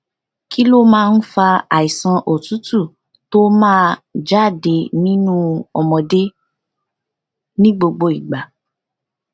kí ló máa ń fa àìsàn òtútù tó máa ja de nínú ọmọdé ni gbogbo igba